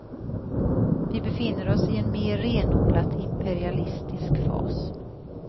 Vi befinner oss i en mer renodlat imperialistisk fas.